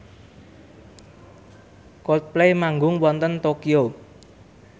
Coldplay manggung wonten Tokyo